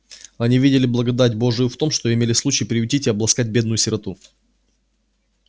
они видели благодать божию в том что имели случай приютить и обласкать бедную сироту